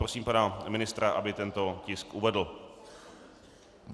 Prosím pana ministra, aby tento tisk uvedl.